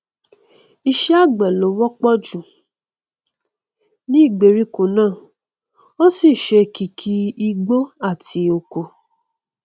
iṣẹ àgbẹ ló wọpọ jù ní ìgbèríko náà ó sì ṣe kìkì igbó àti oko